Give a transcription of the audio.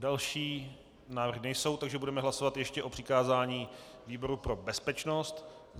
Další návrhy nejsou, takže budeme hlasovat ještě o přikázání výboru pro bezpečnost.